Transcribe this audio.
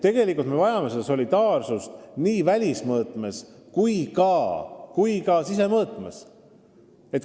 Tegelikult me vajame solidaarsust nii välismõõtmes kui ka sisemõõtmes.